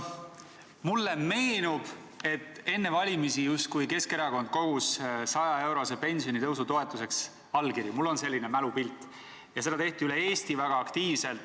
Mulle meenub, et enne valimisi Keskerakond justkui kogus 100-eurose pensionitõusu toetuseks allkirju, mul on selline mälupilt, ja seda tehti üle Eesti väga aktiivselt.